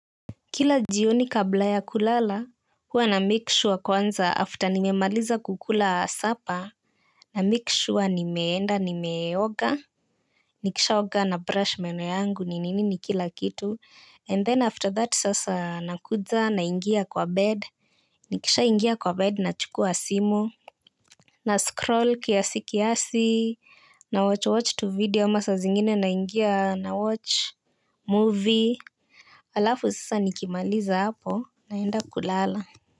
Kila jioni kabla ya kulala hua namake sure kwanza after nimemaliza kukula sapa. Namikishwa nimeenda nimeoga. Nikishaoga na brush meno yangu ni nini ni kila kitu And then after that sasa nakudza na ingia kwa bed. Nikisha ingia kwa bed na chukua simu. Na scroll kiasi kiasi. Na watch watch tu video ama saa zingine naingia na watch movie. Alafu sasa nikimaliza hapo naenda kulala.